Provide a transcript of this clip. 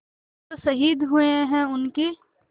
जो शहीद हुए हैं उनकी